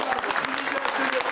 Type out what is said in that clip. Ən gözəl hiss bu gün.